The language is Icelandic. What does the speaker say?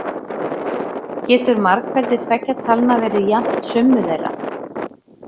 Getur margfeldi tveggja talna verið jafnt summu þeirra?